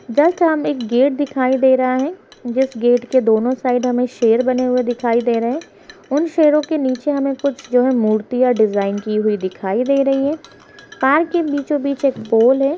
Just हमे एक gate दिखाई दे रहा है जिस गेट के दोनों साइड हमे शेर बने हुए दिखाई दे रहे हैं | उन शेरों के नीचे हमे कुछ जो है मूर्तियाँ डिजाइन की हुई दिखाई दे रही हैं| पार्क के बीचों-बीच एक पोल है।